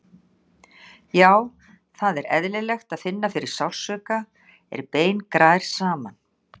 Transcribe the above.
Já, það er eðlilegt að finna fyrir sársauka er bein grær saman.